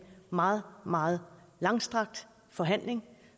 meget meget langstrakt forhandling